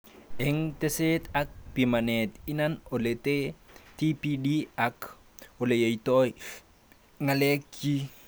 Eng teset ak pimanet, inan oletee TPD ak oleyotoi ngalekchi